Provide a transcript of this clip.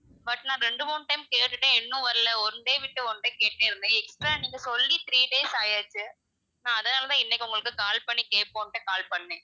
but நான் ரெண்டு மூணு time கேட்டுட்டேன் இன்னும் வரல, one day விட்டு one day கேட்டுட்டே இருந்தேன், extra நீங்க சொல்லி three days ஆயாச்சு நான் அதனால தான் இன்னைக்கு உங்கள்ட்ட call பண்ணி கேப்போம்ட்டு call பண்ணேன்.